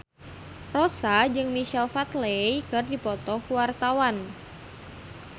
Rossa jeung Michael Flatley keur dipoto ku wartawan